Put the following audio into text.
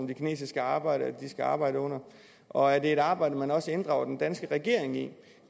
de kinesiske arbejdere skal arbejde under og er det et arbejde man også inddrager den danske regering i